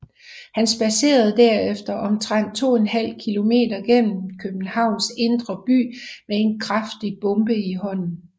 Han spadserer derefter omtrent to en halv kilometer gennem Københavns indre by med en kraftig bombe i hånden